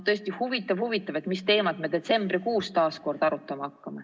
Tõesti huvitav, mis teemat me detsembrikuus taas kord arutama hakkame.